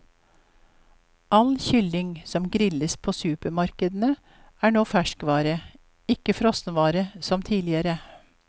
All kylling som grilles på supermarkedene, er nå ferskvare, ikke frossenvare som tidligere.